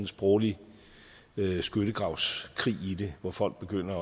sproglig skyttegravskrig i det hvor folk begynder